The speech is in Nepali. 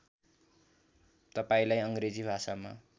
तपाईँलाई अङ्ग्रेजी भाषामा